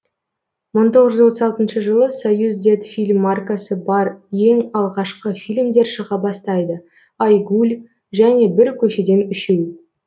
мың тоғыз жүз отыз алтыншы жылы союздетфильм маркасы бар ең алғашқы фильмдер шыға бастайды ай гуль және бір көшеден үшеу